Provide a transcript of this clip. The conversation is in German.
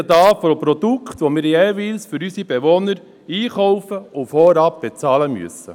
Wir sprechen von Produkten, die wir jeweils für unsere Bewohner einkaufen und vorab bezahlen müssen.